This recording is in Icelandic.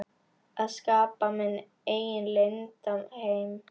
Að skapa minn eigin leynda heim.